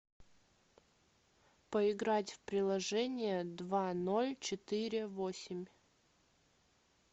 поиграть в приложение два ноль четыре восемь